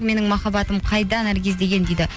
менің махаббатым қайда наргиз деген дейді